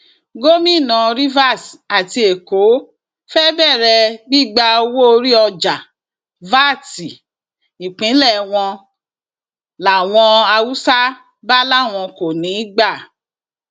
gomina rivers àti èkó fée bẹrẹ gbígba owóorí ọjà vat ìpínlẹ wọn làwọn haúsá bá láwọn kò ní í gbà